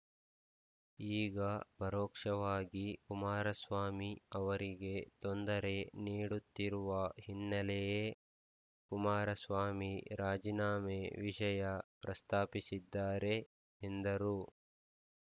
ಈಗ ಪರೋಕ್ಷವಾಗಿ ಕುಮಾರಸ್ವಾಮಿ ಅವರಿಗೆ ತೊಂದರೆ ನೀಡುತ್ತಿರುವ ಹಿನ್ನೆಲೆಯೇ ಕುಮಾರಸ್ವಾಮಿ ರಾಜೀನಾಮೆ ವಿಷಯ ಪ್ರಸ್ತಾಪಿಸಿದ್ದಾರೆ ಎಂದರು